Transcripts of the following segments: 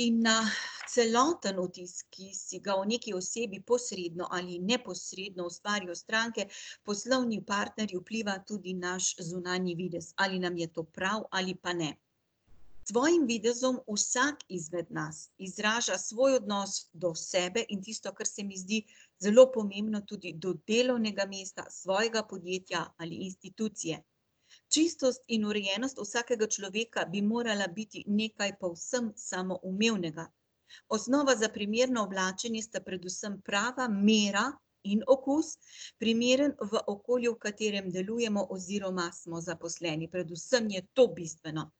In na celoten vtis, ki si ga o nekaj osebi posredno ali neposredno ustvarijo stranke, poslovni partnerji, vpliva tudi naš zunanji videz. Ali nam je to prav ali pa ne. S svojim videzom vsak izmed nas izraža svoj odnos do sebe in tisto, kar se mi zdi zelo pomembno, tudi do delovnega mesta, svojega podjetja ali institucije. Čistost in urejenost vsakega človeka bi morala biti nekaj povsem samoumevnega. Osnova za primerno oblačenje sta predvsem prava mera in okus, primeren v okolju, v katerem delujemo oziroma smo zaposleni. Predvsem je to bistveno.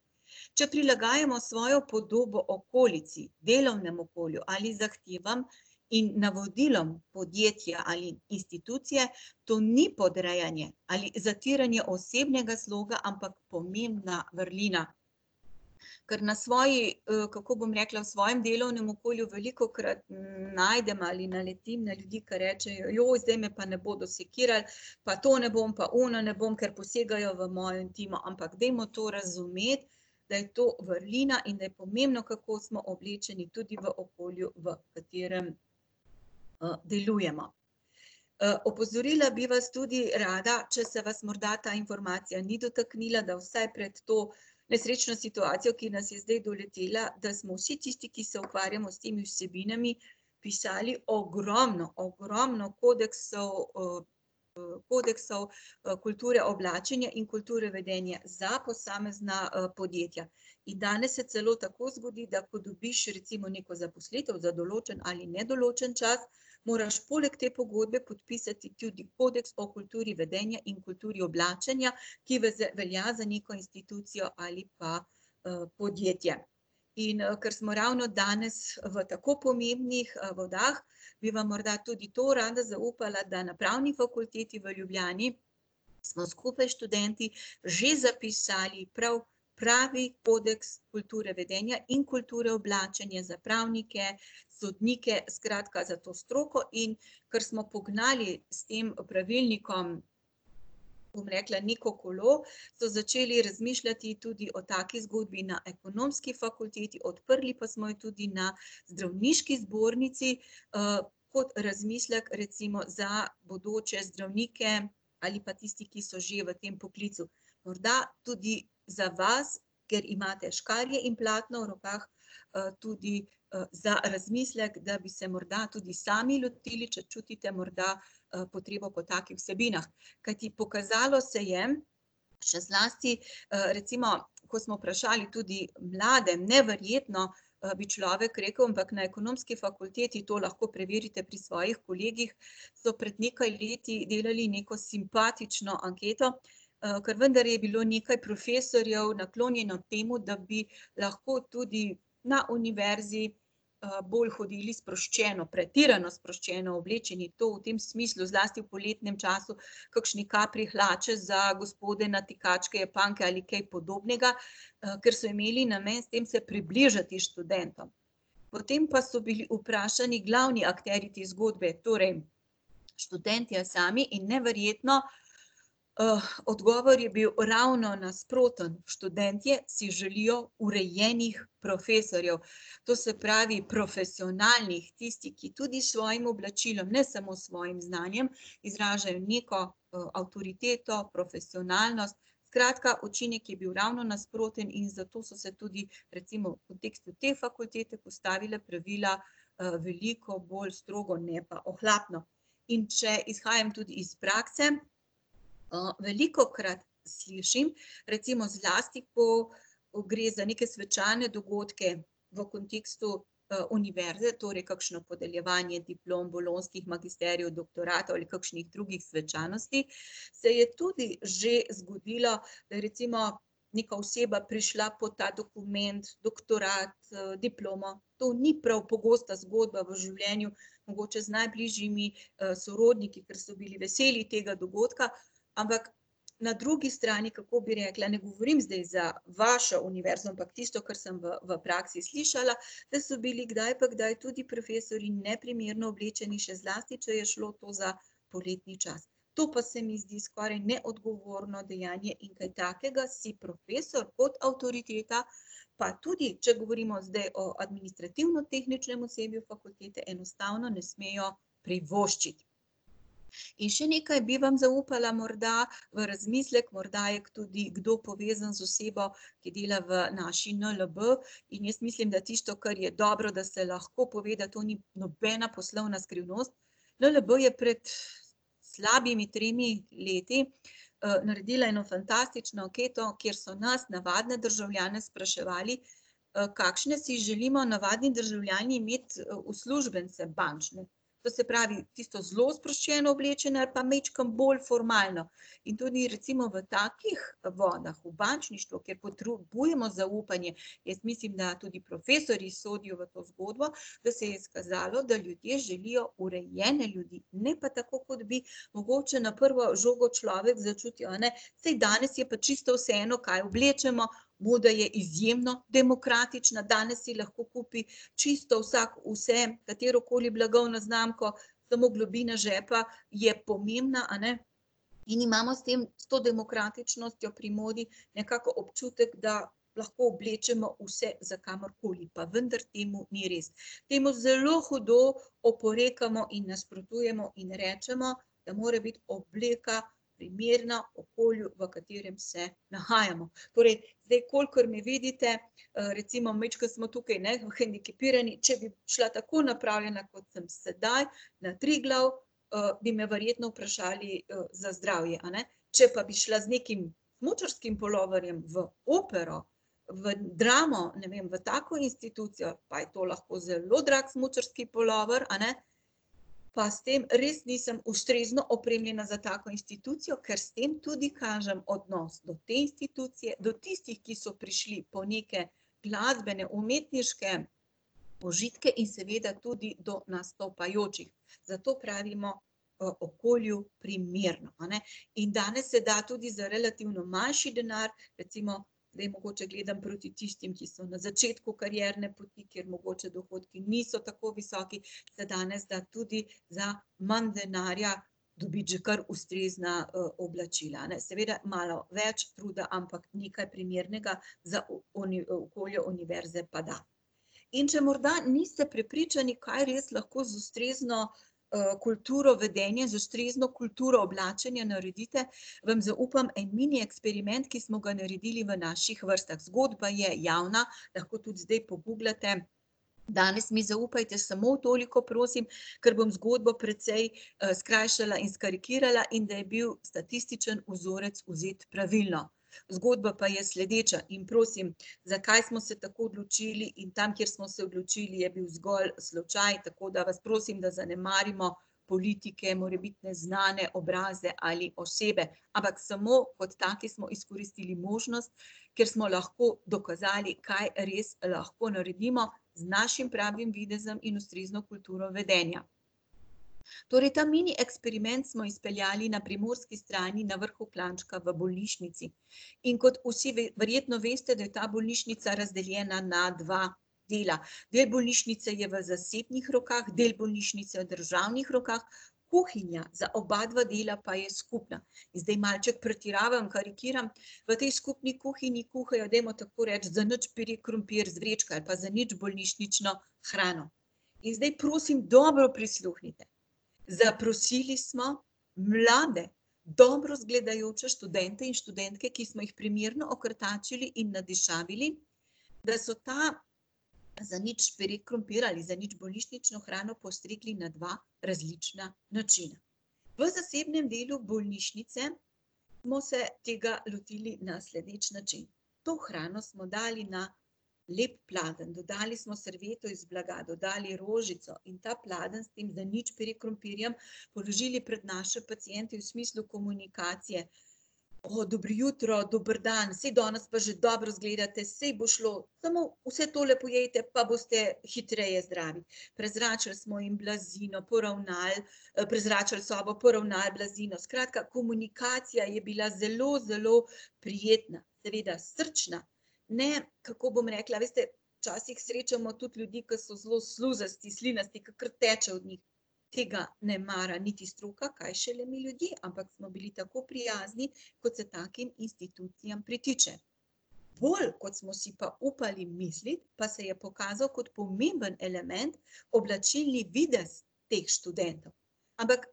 Če prilagajamo svojo podobo okolici, delovnemu okolju ali zahtevam in navodilom podjetja ali institucije, to ni podrejanje ali zatiranje osebnega sloga, ampak pomembna vrlina. Ker na svoji, kako bom rekla, svojem delovnem okolju velikokrat najdem ali naletim na ljudi, ke rečejo: zdaj me pa ne bodo sekirali, pa to ne bom, pa ono ne bom, ker posegajo v mojo intimo." Ampak dajmo to razumeti, da je to vrlina in da je pomembno, kako smo oblečeni tudi v okolju, v katerem, delujemo. opozorila bi vas tudi rada, če se vas morda ta informacija ni dotaknila, da vsaj pred to nesrečno situacijo, ki nas je zdaj doletela, da smo vsi tisti, ki se ukvarjamo s temi vsebinami, pisali ogromno, ogromno kodeksov, kodeksov, kulture oblačenja in kulture vedenja za posamezna, podjetja. In danes se celo tako zgodi, da ko dobiš recimo neko zaposlitev za določen ali nedoločen čas, moraš poleg te pogodbe podpisati tudi kodeks o kulturi vedenja in kulturi oblačenja, ki velja za neko institucijo ali pa, podjetje. In, ker smo ravno danes v tako pomembnih, vodah, bi vam morda tudi to rada zaupala, da na Pravni fakulteti v Ljubljani smo skupaj s študenti že zapisali prav pravi kodeks kulture vedenja in kulture oblačenja za pravnike, sodnike, skratka za to stroko in kar smo pognali s tem pravilnikom, bom rekla, neko kolo, so začeli razmišljati tudi o taki zgodbi na ekonomski fakulteti, odprli pa smo jo tudi na zdravniški zbornici, kot razmislek recimo za bodoče zdravnike ali pa tisti, ki so že v tem poklicu. Morda tudi za vas, ker imate škarje in platno v rokah, tudi, za razmislek, da bi se morda tudi sami lotili, če čutite morda, potrebo po takih vsebinah. Kajti pokazalo se je, še zlasti, recimo ko smo vprašali tudi mlade, neverjetno, bi človek rekel, ampak na ekonomski fakulteti, to lahko preverite pri svojih kolegih, so pred nekaj leti delali neko simpatično anketo, ker vendar je bilo nekaj profesorjev naklonjeno temu, da bi lahko tudi na univerzi, bolj hodili sproščeno, pretirano sproščeno oblečeni. To v tem smislu, zlasti v poletnem času, kakšne kapri hlače za gospode, natikačke, japanke ali kaj podobnega, ker so imeli namen s tem se približati študentom. Potem pa so bili vprašani glavni akterji te zgodbe, torej študentje sami, in neverjetno, odgovor je bil ravno nasproten. Študentje si želijo urejenih profesorjev. To se pravi profesionalnih, tistih, ki tudi s svojim oblačilom, ne samo s svojim znanjem, izražajo neko, avtoriteto, profesionalnost. Skratka, učinek je bil ravno nasproten in zato so se tudi recimo v kontekstu te fakultete postavila pravila, veliko bolj strogo, ne pa ohlapno. In če izhajam tudi iz prakse, velikokrat slišim, recimo zlasti ko, ko gre za neke svečane dogodke v kontekstu, univerze, torej kakšno podeljevanje diplom, bolonjskih magisterijev, doktoratov ali kakšnih drugih svečanosti, se je tudi že zgodilo, da je recimo neka oseba prišla po ta dokument, doktorat, diplomo, to ni prav pogosta zgodba v življenju, mogoče z najbližjimi, sorodniki, ke so bili veseli tega dogodka, ampak na drugi strani, kako bi rekla, ne govorim zdaj za vašo univerzo, ampak tisto, kar sem v, v praksi slišala, da so bili kdaj pa kdaj tudi profesorji neprimerno oblečeni, še zlasti če je šlo to za poletni čas. To pa se mi zdi skoraj neodgovorno dejanje in kaj takega si profesor kot avtoriteta, pa tudi če govorimo zdaj o administrativno-tehničnem osebju fakultete, enostavno ne smejo privoščiti. In še nekaj bi vam zaupala morda v razmislek, morda je tudi kdo povezan z osebo, ki dela v naši NLB, in jaz mislim, da tisto, kar je dobro, da se lahko pove, da to ni nobena poslovna skrivnost. NLB je pred slabimi tremi leti, naredila eno fantastično anketo, kjer so nas, navadne državljane, spraševali, kakšne si želimo navadni državljani imeti uslužbence bančne. To se pravi tisto, zelo sproščeno oblečeni ali pa majčkeno bolj formalno. In tudi recimo v takih vodah, v bančništvu, kjer potrebujemo zaupanje, jaz mislim, da tudi profesorji sodijo v to zgodbo, da se je izkazalo, da ljudje želijo urejene ljudi. Ne pa tako, kot bi mogoče na prvo žogo človek začutil, a ne, saj danes je pa čisto vseeno, kaj oblečemo, moda je izjemo demokratična, danes si lahko kupi čisto vsak vse, katerokoli blagovno znamko, samo globina žepa je pomembna, a ne. In imamo s tem, s to demokratičnostjo pri modi nekako občutek, da lahko oblečemo vse za kamorkoli. Pa vendar temu ni res. Temu zelo hudo oporekamo in nasprotujemo in rečemo, da mora biti obleka primerna okolju, v katerem se nahajamo. Torej zdaj, kolikor me vidite, recimo majčkeno smo tukaj, ne, hendikepirani, če bi prišla tako napravljena, kot sem sedaj, na Triglav, bi me verjetno vprašali, za zdravje, a ne. Če pa bi šla z nekim smučarskim puloverjem v opero, v Dramo, ne vem, v tako institucijo, pa je to lahko zelo drag smučarski pulover, a ne, pa s tem res nisem ustrezno opremljena za tako institucijo, ker s tem tudi kažem odnos do te institucije, do tistih, ki so prišli po neke glasbene, umetniške užitke, in seveda tudi do nastopajočih. Zato pravimo, okolju primerno, a ne. In danes se da tudi za relativno manjši denar, recimo zdaj mogoče gledam proti tistim, ki so na začetku karierne poti, kjer mogoče dohodki niso tako visoki, se danes da tudi za manj denarja dobiti že kar ustrezna, oblačila, a ne, seveda malo več truda, ampak nekaj primernega za okolje univerze pa da. In če morda niste prepričani, kaj res lahko z ustrezno, kulturo vedenja, z ustrezno kulturo oblačenja naredite, vam zaupam en mini eksperiment, ki smo ga naredili v naših vrstah. Zgodba je javna, lahko tudi zdaj poguglate. Danes mi zaupajte samo toliko, prosim, ker bom zgodbo precej, skrajšala in skarikirala, in da je bil statistični vzorec vzet pravilno. Zgodba pa je sledeča, in prosim, zakaj smo se tako odločili in tam, kjer smo se odločili, je bil zgolj slučaj, tako da vas prosim, da zanemarimo politike, morebitne znane obraze ali osebe. Ampak samo kot taki smo izkoristili možnost, ker smo lahko dokazali, kaj res lahko naredimo z našim pravim videzom in ustrezno kulturo vedenja. Torej ta mini eksperiment smo izpeljali na primorski strani na vrhu klančka v bolnišnici. In kot vsi verjetno veste, da je ta bolnišnica razdeljena na dva dela. Del bolnišnice je v zasebnih rokah, del bolnišnice je v državnih rokah, kuhinja za obadva dela pa je skupna. Zdaj malček pretiravam, karikiram, v tej skupni kuhinji kuhajo, dajmo tako reči, zanič pire krompir iz vrečke ali pa zanič bolnišnično hrano. In zdaj prosim dobro prisluhnite. Zaprosili smo mlade, dobro izgledajoče študente in študentke, ki smo jih primerno okrtačili in nadišavili, da so ta zanič pire krompir ali zanič bolnišnično hrano postregli na dva različna načina. V zasebnem delu bolnišnice smo se tega lotili na sledeč način. To hrano smo dali na lep pladenj, dodali smo servieto iz blaga, dodali rožico in ta pladenj s tem zanič pire krompirjem položili pred naše paciente v smislu komunikacije: dobro jutro, dober dan. Saj danes pa že dobro izgledate, saj bo šlo, samo vse tole pojejte, pa boste hitreje zdravi." Prezračili smo jim blazino, poravnali, prezračili sobo, poravnali blazino. Skratka, komunikacija je bila zelo, zelo prijetna, seveda srčna. Ne, kako bom rekla, veste, včasih srečamo tudi ljudi, ki so zelo sluzasti, slinasti, ke kar teče od njih. Tega ne mara niti stroka, kaj šele mi ljudje. Ampak smo bili tako prijazni, kot se takim institucijam pritiče. Bolj, kot smo si pa upali misliti, pa se je pokazal kot pomemben element oblačilni videz teh študentov. Ampak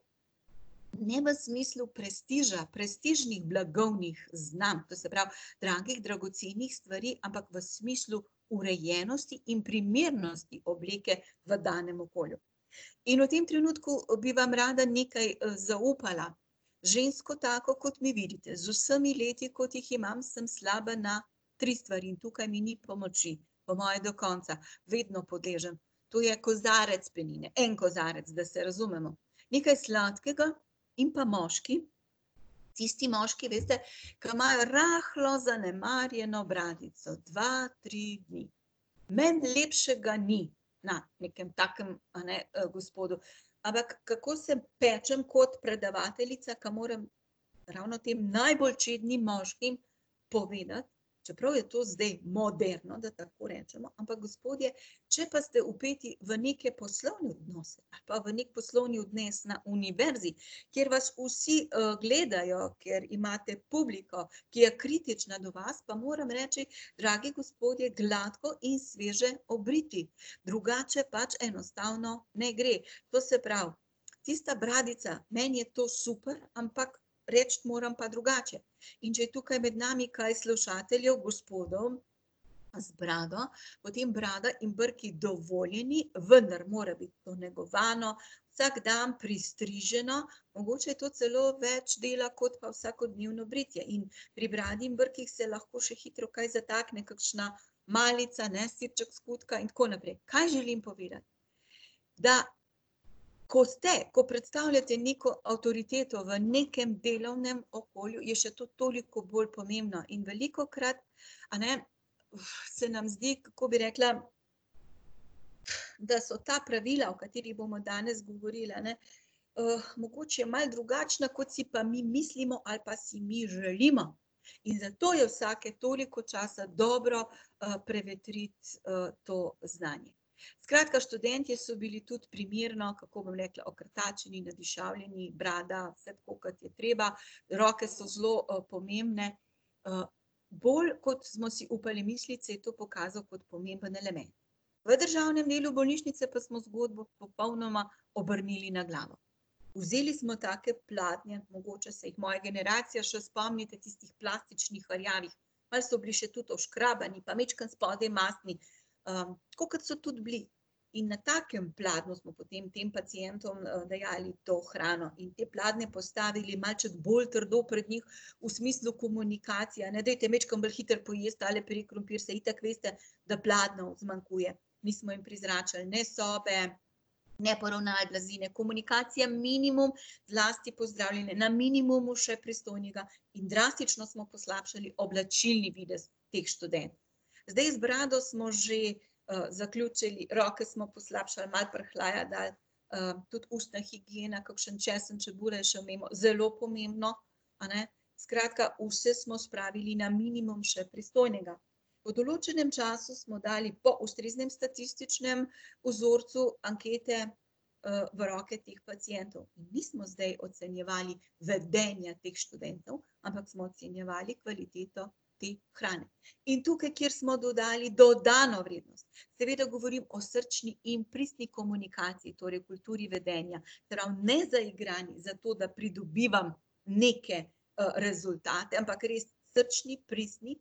ne v smislu prestiža, prestižnih blagovnih znamk, to se pravi, dragih, dragocenih stvari, ampak v smislu urejenosti in primernosti obleke v danem okolju. In v tem trenutku, bi vam rada nekaj, zaupala. Žensko, tako, kot vi vidite, z vsemi leti, kot jih imam, sem slaba na tri stvari in tukaj mi ni pomoči, po moje do konca. Vedno podležem. To je kozarec penine, en kozarec, da se razumemo, nekaj sladkega in pa moški, tisti moški, veste, ke imajo rahlo zanemarjeno bradico, dva, tri dni. Meni lepšega ni na nekem takem, a ne, gospodu. Ampak kako se pečem kot predavateljica, ke moram ravno tem najbolj čednim moškim povedati, čeprav je to zdaj moderno, da tako recimo. Ampak gospodje, če pa ste vpeti v neke poslovne odnose ali pa v neki poslovni odnos na univerzi, kjer vas vsi, gledajo, kjer imate publiko, ki je kritična do vas, pa moram reči, dragi gospodje, gladko in sveže obriti. Drugače pač enostavno ne gre. To se pravi tista bradica, meni je to super, ampak reči moram pa drugače. In če je tukaj med nami kaj slušateljev, gospodov z brado, potem brada in brki dovoljeni, vendar mora biti to negovano, vsak dan pristriženo. Mogoče je to celo več dela kot pa vsakodnevno britje in pri bradi in brkih se lahko še hitro kaj zatakne, kakšna malica, ne, sirček, skutka in tako naprej. Kaj želim povedati? Da ko ste, ko predstavljate neko avtoriteto v nekem delovnem okolju, je še to toliko bolj pomembno. In velikokrat, a ne, se nam zdi, kako bi rekla, da so ta pravila, o katerih bomo danes govorili, a ne, mogoče malo drugačna, kot si pa mi mislimo ali pa si mi želimo. In zato je vsake toliko časa dobro, prevetriti, to znanje. Skratka, študentje so bili tudi primerno, kako bom rekla, okrtačeni, nadišavljeni, brada, vse tako, kot je treba, roke so zelo, pomembne. bolj kot smo si upali misliti, se je to pokazalo kot pomemben element. V državnem delu bolnišnice pa smo zgodbo popolnoma obrnili na glavo. Vzeli smo take pladnje, mogoče se jih moja generacija še spomnite, tistih plastičnih rjavih, malo so bili še tudi oškrabani pa majčkeno spodaj mastni. tako kot so tudi bili. In na takem pladnju smo potem tem pacientom, dajali to hrano in te pladnje postavili malček bolj trdo pred njih, v smislu komunikacije, a ne: "Dajte majčkeno bolj hitro pojesti tale pire krompir, saj itak veste, da pladnjev zmanjkuje." Nismo jim prezračili ne sobe, ne poravnali blazine, komunikacija minimum, zlasti pozdravljanje na minimumu še pristojnega, in drastično smo poslabšali oblačilni videz teh študentov. Zdaj, z brado smo že, zaključili, roke smo poslabšali, malo prhljaja dali, tudi ustna higiena, kakšen česen, čebula je šel mimo, zelo pomembno, a ne. Skratka, vse smo spravili na minimum še pristojnega. Po določenem času smo dali po ustreznem statističnem vzorcu ankete, v roke teh pacientov in nismo zdaj ocenjevali vedenje teh študentov, ampak smo ocenjevali kvaliteto te hrane. In tukaj, kjer smo dodali dodano vrednost, seveda govorim o srčni in pristni komunikaciji, torej kulturi vedenja, ne zaigram zato, da pridobivam neke, rezultate, ampak res srčni, pristni,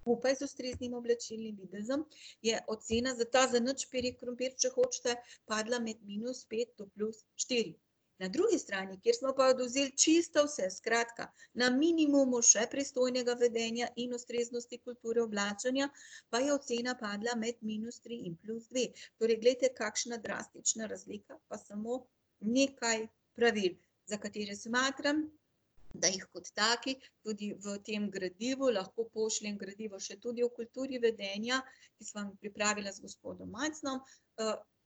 skupaj z ustreznim oblačilnim videzom, je ocena za ta zanič pire krompir, če hočete, padla med minus pet do plus štiri. Na drugi strani, kjer smo pa odvzeli čisto vse, skratka, na minimumu še pristojnega vedenja in ustreznosti kulture oblačenja, pa je ocena padla med minus tri in plus dve. Torej glejte, kakšna drastična razlika, pa smo nekaj pravil, za katere smatram, da jih kot takih tudi v tem gradivu, lahko pošljem gradivo še tudi o kulturi vedenja, ki sva vam pripravila z gospodom Majcnom,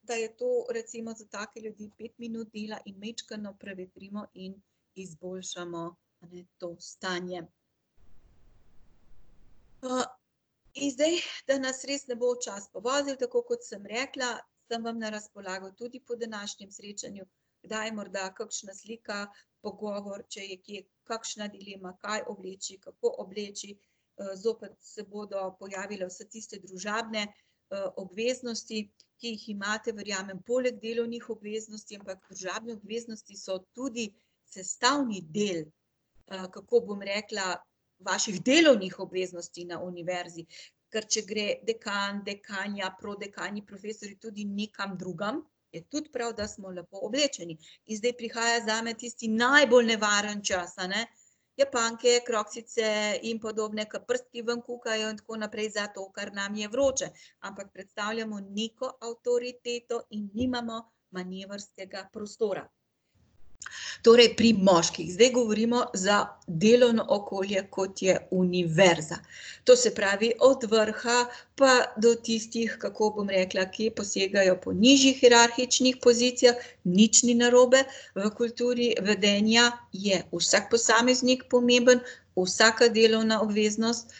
pa je to recimo za take ljudi pet minut dela in majčkeno prevetrimo in izboljšamo, a ne, to stanje. in zdaj, da nas res ne bo čas povozil, tako kot sem rekla, sem vam na razpolago tudi po današnjem srečanju, da je morda kakšna slika, pogovor, če je kje kakšna dilema, kaj obleči, kako obleči. zopet se bodo pojavile vse tiste družabne, obveznosti, ki jih imate, verjamem, poleg delovnih obveznosti, ampak družabne obveznosti so tudi sestavni del, kako bom rekla, vaših delovnih obveznosti na univerzi, ker če gre dekan, dekanja, prodekani, profesorji tudi nekam drugam, je tudi prav, da smo lepo oblečeni. In zdaj prihaja zame tisti najbolj nevaren čas, a ne, japanke, kroksice in podobne, ke prstki ven kukajo in tako naprej zato, ker nam je vroče. Ampak predstavljamo neko avtoriteto in nimamo manevrskega prostora. Torej pri moških. Zdaj govorimo za delovno okolje, kot je univerza. To se pravi od vrha pa do tistih, kako bom rekla, ki posegajo po nižjih hierarhičnih pozicijah, nič ni narobe, v kulturi vedenja je vsak posameznik pomemben, vsaka delovna obveznost,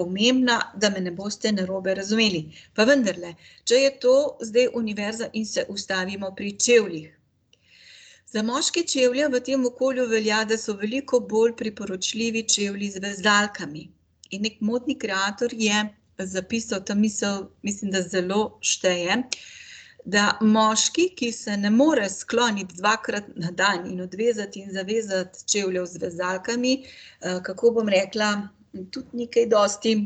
pomembna, da me ne boste narobe razumeli. Pa vendarle, če je to zdaj univerza in se ustavimo pri čevljih. Za moške čevlje v tem okolju velja, da so veliko bolj priporočljivi čevlji z vezalkami. In neki modni kreator je zapisal, ta misel mislim, da zelo šteje, da moški, ki se ne more skloniti dvakrat na dan in odvezati in zavezati čevljev z vezalkami, kako bom rekla, tudi ni kaj dosti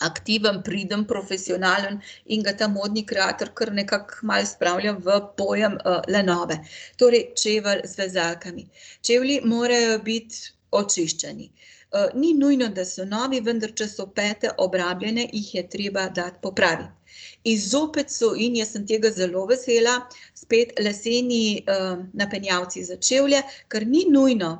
aktiven, priden, profesionalen in ga ta modni kreator kar nekako malo spravlja v pojem, lenobe. Torej čevelj z vezalkami. Čevlji morajo biti očiščeni. ni nujno, da so novi, vendar če so pete obrabljene, jih je treba dati popraviti. In zopet so in, jaz sem tega zelo vesela, spet leseni, napenjalci za čevlje, ker ni nujno,